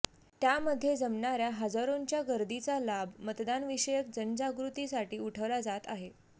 त्यामध्ये जमणाऱ्या हजारोंच्या गर्दीचा लाभ मतदानविषयक जनजागृतीसाठी उठवला जात आहे